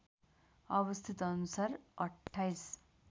अवस्थित अनुसार २८